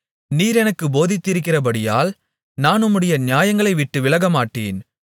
நீர் எனக்குப் போதித்திருக்கிறபடியால் நான் உம்முடைய நியாயங்களை விட்டு விலகமாட்டேன்